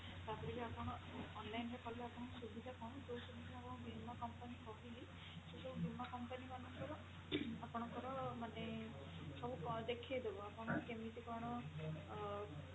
ତାପରେ ବି ଆପଣ online ରେ କଲେ ଆପଣଙ୍କର ସୁବିଧା କଣ ଯୋଉ ସବୁ ମୁଁ ଆପଣଙ୍କୁ ବୀମା company କହିଲି ସେଇ ସବୁ ବୀମା company ମାନଙ୍କର ଆପଣଙ୍କର ମାନେ ସବୁ ଦେଖେଇ ଦବ ଆପଣ କେମିତି କଣ ଅ